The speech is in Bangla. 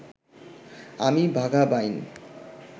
আমি বাঘা বাইন